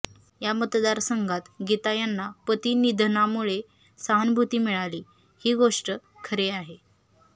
या मतदारसंघात गीता यांना पती निधनामुळे सहानुभूती मिळाली ही गोष्ट खरी आहे